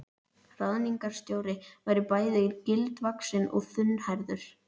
Ráðningarstjóri var bæði gildvaxinn og þunnhærður.